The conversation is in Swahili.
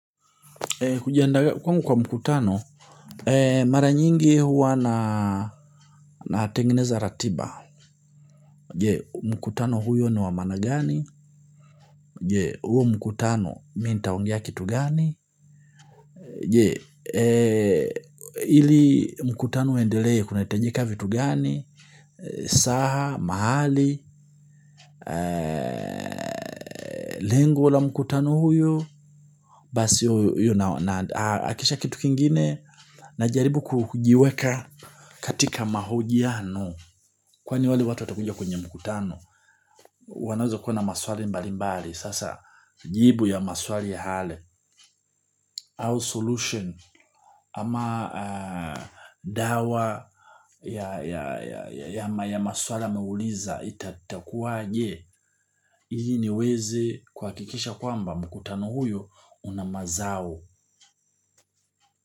Kujiandaa kwangu kwa mkutano, mara nyingi huwa natengeneza ratiba. Mkutano huo ni wa maana gani? Je mkutano mi ntaongea kitu gani? Ili mkutano uendelee kunahitajika vitu gani. Saha, mahali, lengo la mkutano huyo basi yuna hakisha kitu kingine. Najaribu kujiweka katika mahojiano kwani wale watu watakuja kwenye mkutano. Wanaweza kuwa na maswali mbali mbali. Sasa jibu ya maswali yale au solution ama dawa ya maswala ameuliza itakuwaje. Ili niweze kuhakikisha kwamba mkutano huyo una mazao.